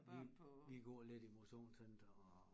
Vi vi går lidt i motionscenter og